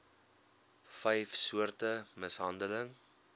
vyf soorte mishandeling